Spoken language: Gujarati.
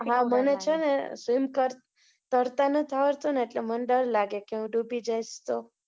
હા, મને છે ને, swim કર, તરતા નથી આવડતું ને, એટલે મને ડર લાગે કે હું ડૂબી જાઈશ તો